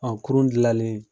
Ɔn kurun jilannen